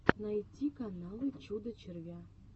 найти каналы чудо червя